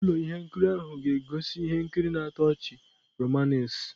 Ụlọ ihe nkiri ahụ ga-egosi ihe nkiri na-atọ ọchị-romanace